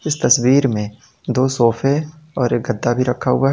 तस्वीर में और दो सोफे और एक गद्दा भी रखा हुआ है।